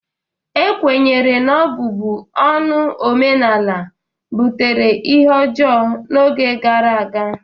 Ekwenyere na ọbụbụ ọnụ omenala butere ihe ọjọọ n'oge gara aga